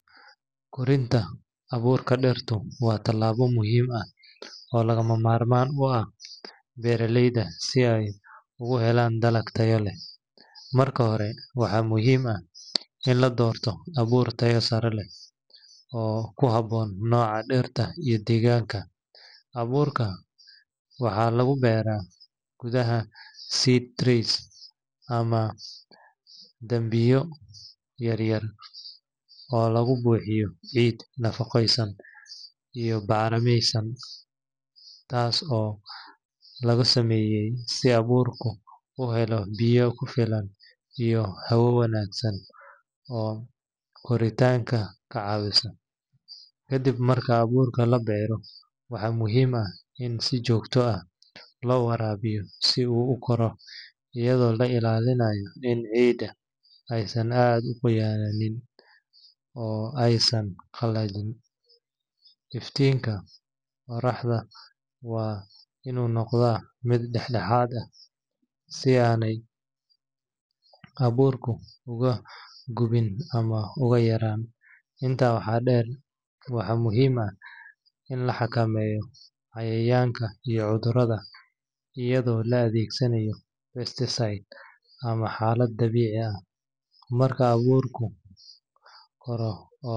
Korinta abuurka dhirta waa tallaabo muhiim ah oo lagama maarmaan u ah beeraleyda si ay u helaan dalag tayo leh. Marka hore, waxaa muhiim ah in la doorto abuur tayo sare leh oo ku habboon nooca dhirta iyo deegaanka. Abuurka waxaa lagu beeraa gudaha seed trays ama dambiilo yaryar oo lagu buuxiyo ciid nafaqeysan iyo bacrimiyeysan. Taas waxaa lagu sameeyaa si abuurku u helo biyo ku filan iyo hawo wanaagsan oo koritaanka ka caawisa. Kadib marka abuurka la beero, waxaa muhiim ah in si joogto ah loo waraabiyo si uu u koro, iyadoo la ilaalinayo in ciidda aysan aad u qoyanayn oo aysan qallajin. Iftiinka qorraxda waa inuu noqdaa mid dhexdhexaad ah, si aanay abuurku uga gubin ama uga yaraan. Intaa waxaa dheer, waxaa muhiim ah in la xakameeyo cayayaanka iyo cudurrada, iyadoo la adeegsanayo pesticides ama xalal dabiici ah. Marka abuurku koro.